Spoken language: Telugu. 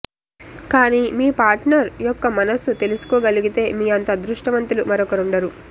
కానీ మీ పాట్నర్ యొక్క మనస్సు తెలుసుకోగలిగితే మీ అంత అద్రుష్టవంతులు మరొకరుండరు